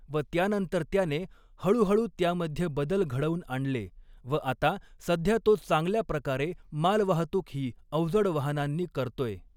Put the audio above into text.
व त्यानंतर त्याने हऴुहऴु त्यामध्ये बदल घडवुन आणले व आता सध्या तो चांगल्या प्रकारे मालवाहतुक ही अवजड वाहनांनी करतोय.